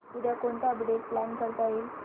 उद्या कोणतं update plan करता येईल